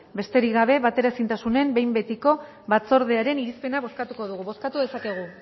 besterik gabe bateraezintasunaren behin betiko batzordearen irizpena bozkatuko dugu bozkatu dezakegu